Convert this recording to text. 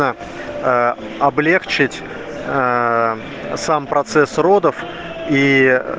аа а облегчить аа сам процесс родов ии